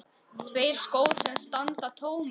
Tveir skór sem standa tómir.